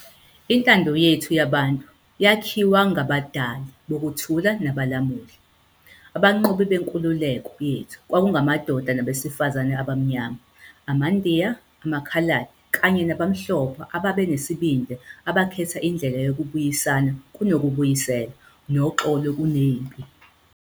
Intando yethu yabantu yakhiwa ngabadali bokuthula nabalamuli. Abanqobi benkululeko yethu kwakungamadoda nabesifazane abaMnyama, amaNdiya, amaKhaladi kanye nabamhlophe ababenesibindi abakhetha indlela yokubuyisana kunokubuyisela, noxolo kunempi.